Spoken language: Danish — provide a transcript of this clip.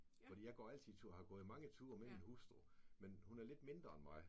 Fordi jeg går altid tur har gået mange ture med min hustru men hun er lidt mindre end mig